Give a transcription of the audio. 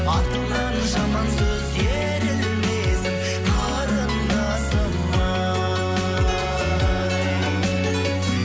артыңнан жаман сөз ерілмесін қарындасым ай